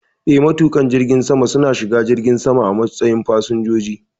Eh, matuƙan jirgin sama su na shiga jirgin sama a matsayin fasinjoji